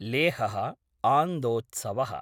लेहः आन्दोत्सव: